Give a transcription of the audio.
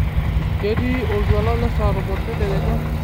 ketii oltuala lesaa tomon tedekenya